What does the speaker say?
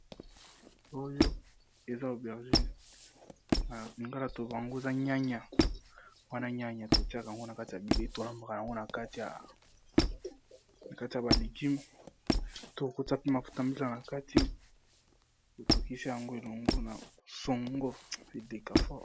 Oyo eza obergine na lingala tobango eza nyanya wana nyanya tokiaka yango na kati ya bilei, tolambaka yango na kati ya ba legume, to kokota pe mafuta mbila na kati otokisa yango elongo na songo edekafor.